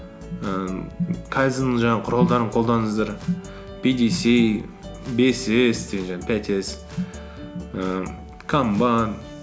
ііі кайдзеннің жаңағы құралдарын қолданыңыздар пидиси бес с деген жаңағы пять с ііі камбан